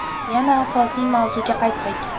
Yana asosiy mavzuga qaytsak.